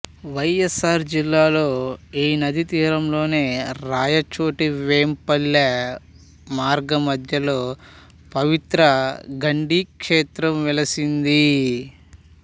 వైఎస్ఆర్ జిల్లాలో ఈ నదీతీరంలోనే రాయచోటివేంపల్లె మార్గమధ్యంలో పవిత్ర గండి క్షేత్రం వెలసింది